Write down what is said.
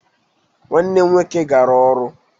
Nwanne m nwoke gara ọrụ